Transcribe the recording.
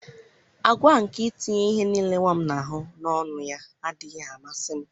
àgwà a nke itinye ihe nile nwa m na-ahụ n'ọnụ ya adịghị amasị m.